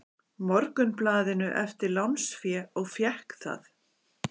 Morgunblaðinu eftir lánsfé og fékk það.